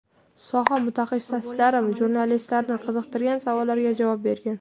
Soha mutaxassislari jurnalistlarni qiziqtirgan savollarga javob bergan.